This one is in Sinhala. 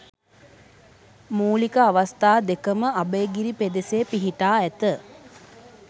මූලික අවස්ථා දෙකම අභයගිරි පෙදෙසේ පිහිටා ඇත.